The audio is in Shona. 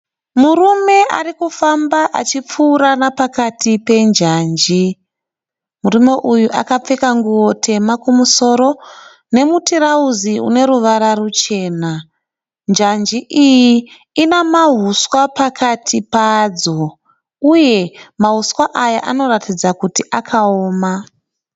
Murume arikufamba achipfuura nepakati penjanji. Murume uyu akapfeka nguwo tema kumusoro nemutirauzi une ruvara ruchena. Njanji iyi ine mahuswa pakati payo uye mahuswa aya anoratidza kuti akaoma.